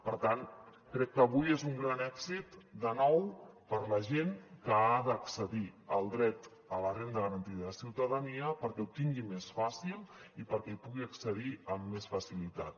per tant crec que avui és un gran èxit de nou per a la gent que ha d’accedir al dret a la renda garantida de ciutadania perquè ho tingui més fàcil i perquè hi pugui accedir amb més facilitat